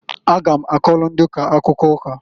A ga m akọlụ ndị ụka akụkọ ụka.